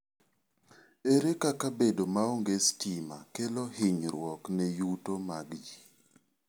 Ere kaka bedo maonge sitima kelo hinyruok ne yuto mag ji?